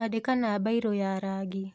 Andika na mbairũ ya rangi.